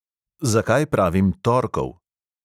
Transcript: Zakaj pravim torkov?